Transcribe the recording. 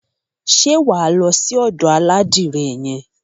Ṣé wà á lọ sí ọ̀dò aládìrẹ yẹn?